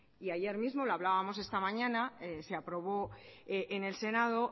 y ayer mismo lo hablábamos esta mañana se aprobó en el senado